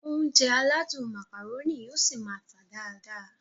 Ounjẹ aládùn Macaroni yóò ṣi máá tà dáadáa